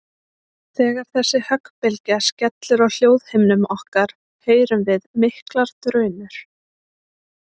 Þegar þessi höggbylgja skellur á hljóðhimnum okkar heyrum við miklar drunur.